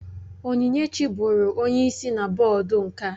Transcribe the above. Onyinyechi bụụrụ onye isi na bọọdụ nka